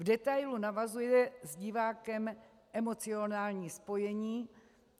V detailu navazuje s divákem emocionální spojení.